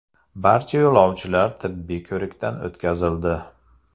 Barcha yo‘lovchilar tibbiy ko‘rikdan o‘tkazildi.